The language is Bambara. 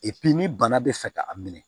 ni bana bɛ fɛ ka a minɛ